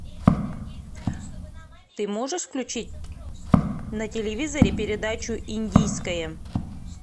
ты можешь включить на телевизоре передачу индийское